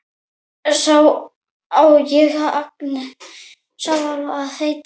Sá á að heita Agnes.